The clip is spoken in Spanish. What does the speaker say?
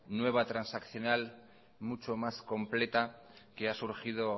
nueva transaccional muchas más completa que ha surgido